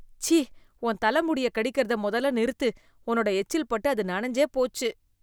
சீ ! உன் தல முடியக் கடிக்கறத மொதல்ல நிறுத்து. உன்னோட எச்சில் பட்டு அது நனஞ்சே போச்சு.